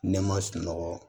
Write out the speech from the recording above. Ne ma sunɔgɔ